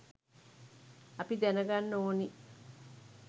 අපි දැනගන්න ඕනි